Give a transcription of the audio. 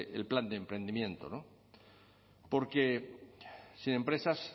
el plan de emprendimiento porque sin empresas